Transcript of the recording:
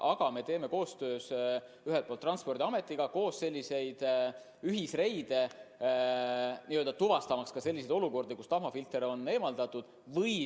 Aga me teeme koostöös Transpordiametiga ühisreide, tuvastamaks ka seda, et tahmafilter on eemaldatud.